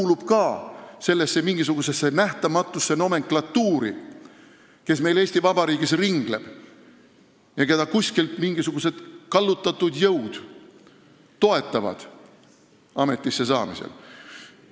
Kas tahetakse, et ta kuuluks ka mingisugusesse nähtamatusse nomenklatuuri, mis meil Eesti Vabariigis ringleb, ja keda mingisugused kallutatud jõud ametissesaamisel toetavad?